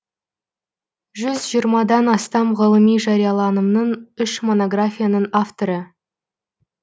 жүз жиырмадан астам ғылыми жарияланымның үш монографияның авторы